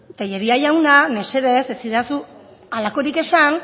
tellería jauna mesedez ez egidazu halakorik esan